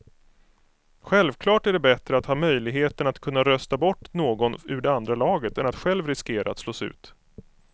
Självklart är det bättre att ha möjligheten att kunna rösta bort någon ur det andra laget än att själv riskera att slås ut.